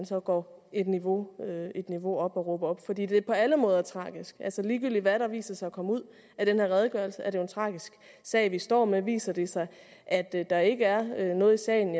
så går et niveau niveau op og råber op for det er på alle måder tragisk altså ligegyldigt hvad der viser sig at komme ud af den her redegørelse er det jo en tragisk sag vi står med viser det sig at der ikke er noget i sagen